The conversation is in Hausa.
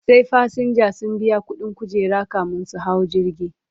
Sai fasinja sun biya ƙuɗin kujera kamin su hau jirgi